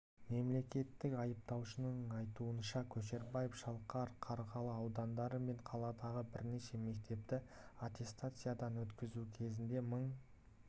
мемлекеттік айыптаушының айтуынша көшербаев шалқар қарғалы аудандары мен қаладағы бірнеше мектепті аттестациядан өткізу кезінде мың